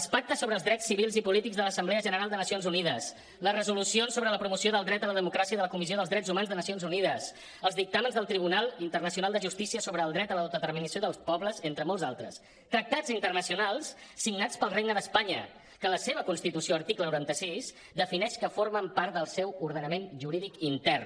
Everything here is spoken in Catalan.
els pactes sobre els drets civils i polítics de l’assemblea general de nacions unides les resolucions sobre la promoció del dret a la democràcia de la comissió dels drets humans de nacions unides els dictàmens del tribunal internacional de justícia sobre el dret a l’autodeterminació dels pobles entre molts altres tractats internacionals signats pel regne d’espanya que en la seva constitució article noranta sis defineix que formen part del seu ordenament jurídic intern